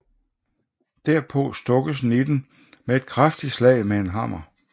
Derpå stukkes nitten med et kraftigt slag med en hammer